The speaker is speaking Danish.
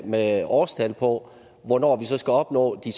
med årstal på hvornår vi så skal opnå de